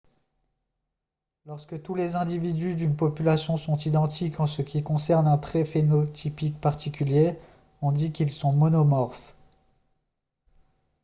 lorsque tous les individus d'une population sont identiques en ce qui concerne un trait phénotypique particulier on dit qu'ils sont monomorphes